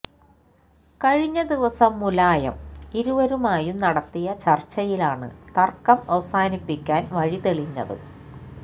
കഴിഞ്ഞ ദിവസം മുലായം ഇരുവരുമായും നടത്തിയ ചര്ച്ചയിലാണ് തര്ക്കം അവസാനിപ്പിക്കാന് വഴിതെളിഞ്ഞത്